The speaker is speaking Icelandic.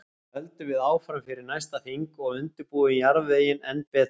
Svo höldum við áfram fyrir næsta þing og undirbúum jarðveginn enn betur.